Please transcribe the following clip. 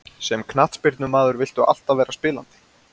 Sem knattspyrnumaður viltu alltaf vera spilandi.